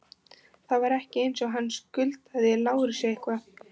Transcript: Það var ekki eins og hann skuldaði Lárusi eitthvað.